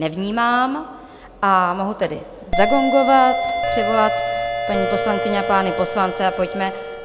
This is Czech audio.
Nevnímám, a mohu tedy zagongovat, přivolat paní poslankyně a pány poslance a pojďme...